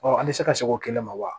Ɔ an bɛ se ka se o kɛlɛ ma wa